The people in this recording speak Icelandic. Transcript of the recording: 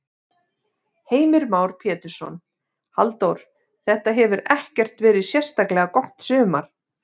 Heimir Már Pétursson: Halldór, þetta hefur ekkert verið sérstaklega gott sumar?